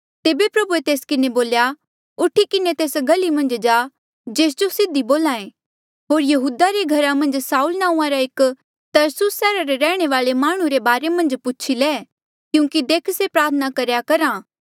तेबे प्रभुए तेस किन्हें बोल्या उठी किन्हें तेस गली मन्झ जा जेस जो सीधी बोल्हा ऐें होर यहूदा रे घरा मन्झ साऊल नांऊँआं रा एक तरसुस सैहरा रे रैहणे वाले माह्णुं रे बारे मन्झ पूछी ले क्यूंकि देख से प्रार्थना करेया करहा